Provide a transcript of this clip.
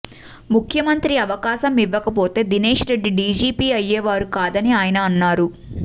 ముఖ్యమంత్రి అవకాశం ఇవ్వకపోతే దినేష్ రెడ్డి డిజిపి అయ్యేవారు కాదని ఆయన అన్నారు